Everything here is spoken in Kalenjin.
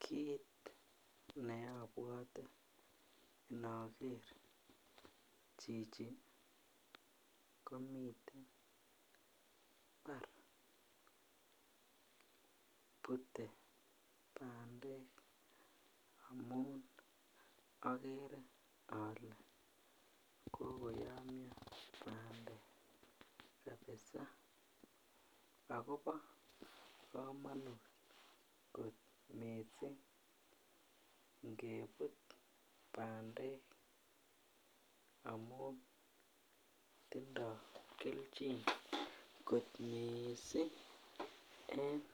Kit ne obwote ndoger chichi komiten mbar bute bandek amun ogere ole kokoyomyo bandek kabisaa agobo kamanut kot miiising ngebut bandek amun tindo kelchin kot miiising eng